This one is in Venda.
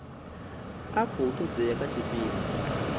a khou todea kha tshipida